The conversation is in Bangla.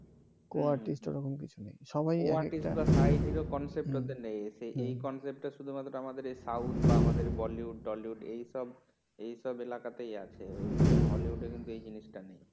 এই co-artist টা শুধুমাত্র আমাদের এই সাউথ বা আমাদের বলিউড ডলিউড এই সব এলাকাতেই আছে হলিউডে কিন্তু এই জিনিস টা নেই